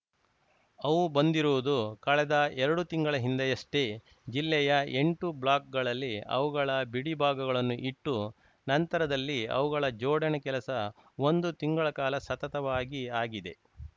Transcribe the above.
ಅವು ಬಂದಿರುವುದು ಕಳೆದ ಎರಡು ತಿಂಗಳ ಹಿಂದೆಯಷ್ಟೇ ಜಿಲ್ಲೆಯ ಎಂಟು ಬ್ಲಾಕ್‌ಗಳಲ್ಲಿ ಅವುಗಳ ಬಿಡಿ ಭಾಗಗಳನ್ನು ಇಟ್ಟು ನಂತರದಲ್ಲಿ ಅವುಗಳ ಜೋಡಣೆ ಕೆಲಸ ಒಂದು ತಿಂಗಳ ಕಾಲ ಸತತವಾಗಿ ಆಗಿದೆ